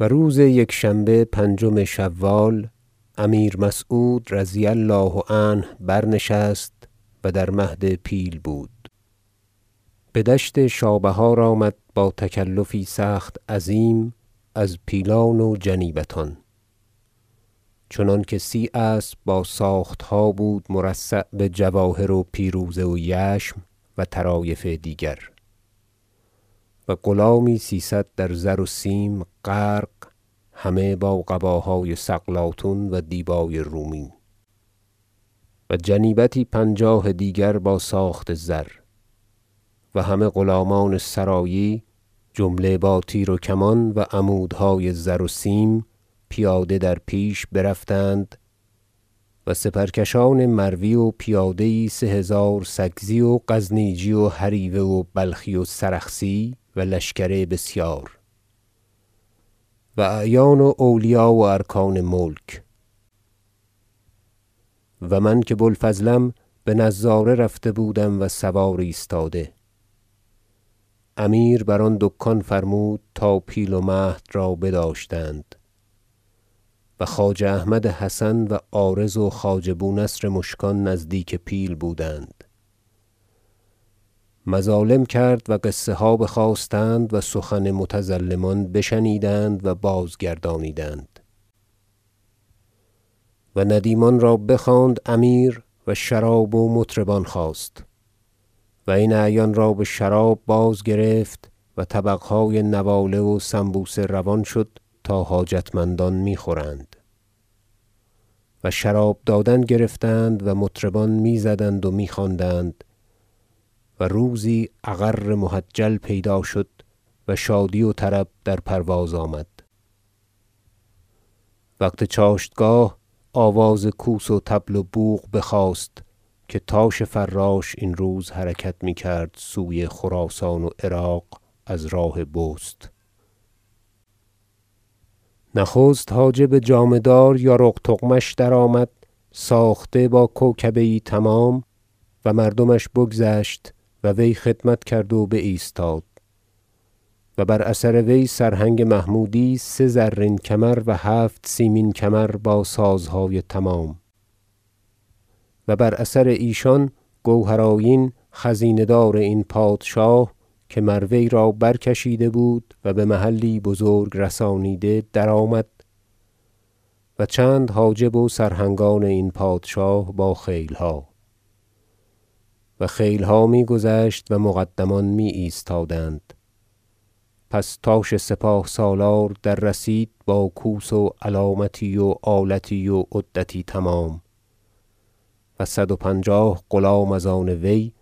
مراسم دشت شابهار و روز یکشنبه پنجم شوال امیر مسعود رضی الله عنه برنشست و در مهد پیل بود بدشت شابهار آمد با تکلفی سخت عظیم از پیلان و جنیبتان چنانکه سی اسب با ساختها بود مرصع بجواهر و پیروزه و یشم و طرایف دیگر و غلامی سیصد در زر و سیم غرق همه با قباهای سقلاطون و دیبای رومی و جنیبتی پنجاه دیگر با ساخت زر و همه غلامان سرایی جمله با تیر و کمان و عمودهای زر و سیم پیاده در پیش برفتند و سپرکشان مروی و پیاده یی سه هزار سکزی و غزنیجی و هریوه و بلخی و سرخسی و لشکر بسیار و اعیان و اولیا و ارکان ملک- و من که بو الفضلم بنظاره رفته بودم و سوار ایستاده- امیر بر آن دکان فرمود تا پیل و مهد را بداشتند و خواجه احمد حسن و عارض و خواجه بونصر مشکان نزدیک پیل بودند مظالم کرد و قصه ها بخواستند و سخن متظلمان بشنیدند و بازگردانیدند و ندیمان را بخواند امیر و شراب و مطربان خواست و این اعیان را بشراب بازگرفت و طبقهای نواله و سنبوسه روان شد تا حاجتمندان می خورند و شراب دادن گرفتند و مطربان میزدند و میخواندند و روزی اغر محجل پیدا شد و شادی و طرب در پرواز آمد وقت چاشتگاه آواز کوس و طبل و بوق بخاست که تاش فراش این روز حرکت میکرد سوی خراسان و عراق از راه بست نخست حاجب جامه دار یارق تغمش درآمد ساخته با کوکبه یی تمام و مردمش بگذشت و وی خدمت کرد و بایستاد و بر اثر وی سرهنگ محمودی سه زرین کمر و هفت سیمین کمر با سازهای تمام و بر اثر ایشان گوهر آیین خزینه دار این پادشاه که مر وی را برکشیده و بمحلی بزرگ رسانیده در آمد و چند حاجب و سرهنگان این پادشاه با خیلها و خیلها می گذشت و مقدمان می ایستادند پس تاش سپاه سالار در رسید با کوس و علامتی و آلتی و عدتی تمام و صد و پنجاه غلام از آن وی